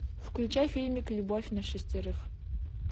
включай фильмик любовь на шестерых